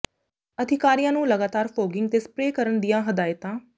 ਅਧਿਕਾਰੀਆਂ ਨੂੰ ਲਗਾਤਾਰ ਫੌਗਿੰਗ ਤੇ ਸਪਰੇਅ ਕਰਨ ਦੀਆਂ ਹਦਾਇਤਾਂ